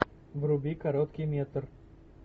вруби короткий метр